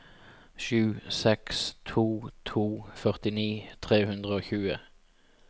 sju seks to to førtini tre hundre og tjue